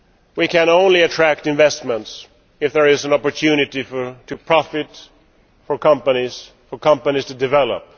We can only attract investment if there is an opportunity for companies to profit, for companies to develop.